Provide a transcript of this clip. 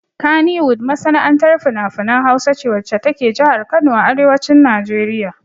Kannywood masana'antar finafinan Hausa ce wacce ta ke jihar Kano a arewacin Najeriya.